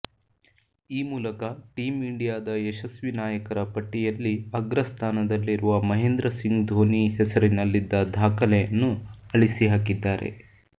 ಈ ಮೂಲಕ ಟೀಂ ಇಂಡಿಯಾದ ಯಶಸ್ವಿ ನಾಯಕರ ಪಟ್ಟಿಯಲ್ಲಿ ಅಗ್ರಸ್ಥಾನದಲ್ಲಿರುವ ಮಹೇಂದ್ರ ಸಿಂಗ್ ಧೋನಿ ಹೆಸರಿನಲ್ಲಿದ್ದ ದಾಖಲೆಯನ್ನು ಅಳಿಸಿಹಾಕಿದ್ದಾರೆ